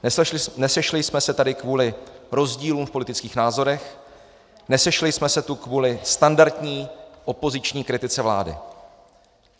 Nesešli jsme se tady kvůli rozdílům v politických názorech, nesešli jsme se tu kvůli standardní opoziční kritice vlády.